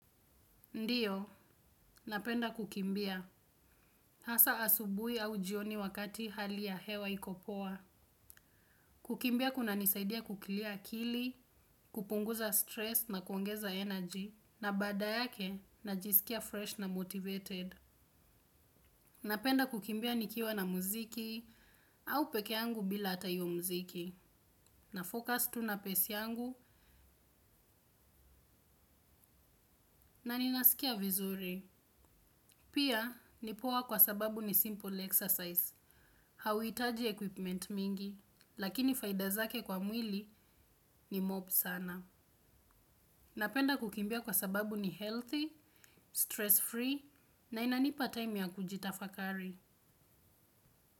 Ndiyo, napenda kukimbia. Hasa asubuhi au jioni wakati hali ya hewa iko poa. Kukimbia kunanisaidia kuclear akili, kupunguza stress na kuongeza energy, na baada yake najisikia fresh na motivated. Napenda kukimbia nikiwa na muziki au peke yangu bila hata hiyo muziki. Nafocus tu na pace yangu. Na ninasikia vizuri. Pia, ni poa kwa sababu ni simple exercise. Hauhitaji equipment mingi, lakini faida zake kwa mwili ni mob sana. Napenda kukimbia kwa sababu ni healthy, stress free, na inanipa time ya kujitafakari.